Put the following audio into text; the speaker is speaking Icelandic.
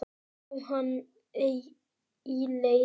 Lá hann ei í leti.